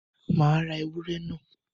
Màá ra ewúrẹ́ náà.